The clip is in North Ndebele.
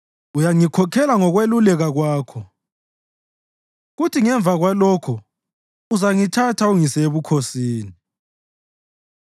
Uyangikhokhela ngokweluleka kwakho kuthi ngemva kwalokho uzangithatha ungise ebukhosini.